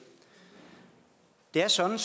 det er sådan